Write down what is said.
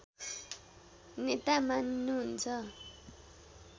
नेता मानिनु हुन्छ